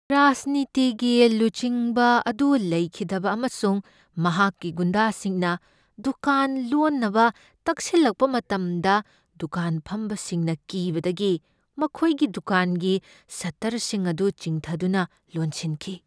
ꯔꯥꯖꯅꯤꯇꯤꯒꯤ ꯂꯨꯆꯤꯡꯕ ꯑꯗꯨ ꯂꯩꯈꯤꯗꯕ ꯑꯃꯁꯨꯡ ꯃꯍꯥꯛꯀꯤ ꯒꯨꯟꯗꯥꯁꯤꯡꯅ ꯗꯨꯀꯥꯟ ꯂꯣꯟꯅꯕ ꯇꯛꯁꯤꯜꯂꯛꯄ ꯃꯇꯝꯗ ꯗꯨꯀꯥꯟ ꯐꯝꯕꯁꯤꯡꯅ ꯀꯤꯕꯗꯒꯤ ꯃꯈꯣꯏꯒꯤ ꯗꯨꯀꯥꯟꯒꯤ ꯁꯠꯇꯔꯁꯤꯡ ꯑꯗꯨ ꯆꯤꯡꯊꯗꯨꯅ ꯂꯣꯟꯁꯤꯟꯈꯤ ꯫